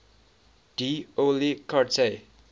d oyly carte